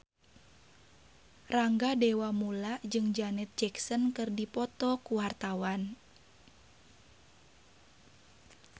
Rangga Dewamoela jeung Janet Jackson keur dipoto ku wartawan